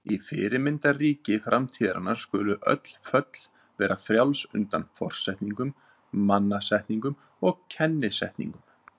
Í fyrirmyndarríki framtíðarinnar skulu öll föll vera frjáls undan forsetningum, mannasetningum og kennisetningum.